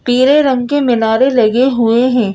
पीले रंग के मीनारे लगे हुएं हैं।